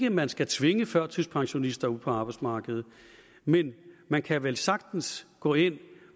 at man skal tvinge førtidspensionister ud på arbejdsmarkedet men man kan vel sagtens gå ind